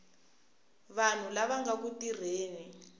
vanhu lava nga ku tirheni